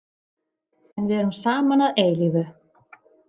En við erum saman að eilífu.